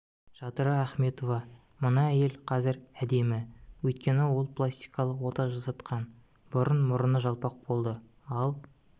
жадыра ахметова мына әйел казір әдемі өйткені ол пластикалық ота жасатқан бұрын мұрыны жалпак болды ал